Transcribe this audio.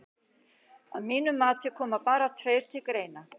Að mínu viti koma bara tveir til greina.